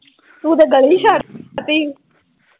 ਤੂੰ ਤਾਂ ਗੱਲ ਹੀ ਛੱਡਤੀ